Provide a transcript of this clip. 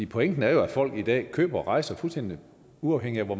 pointen er jo at folk i dag køber rejser fuldstændig uafhængig af hvor